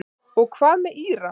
Og hvað með Íra?